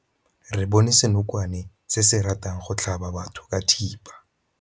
Re bone senokwane se se ratang go tlhaba batho ka thipa.